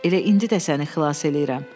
Elə indi də səni xilas eləyirəm.